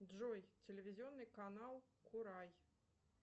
джой телевизионный канал курай